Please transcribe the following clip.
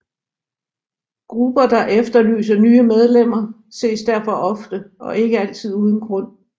Grupper der efterlyser nye medlemmer ses derfor ofte og ikke altid uden grund